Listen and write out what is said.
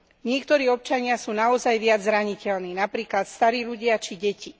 Niektorí občania sú naozaj viac zraniteľní, napríklad starí ľudia či deti.